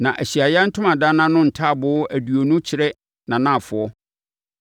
Na Ahyiaeɛ Ntomadan no ntaaboo aduonu kyerɛ nʼanafoɔ